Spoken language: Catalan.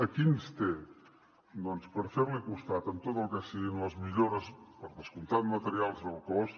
aquí ens té doncs per fer li costat en tot el que siguin les millores per descomptat materials del cos